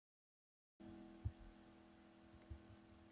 Hægt er að sjá myndband af viðtalinu hér að ofan.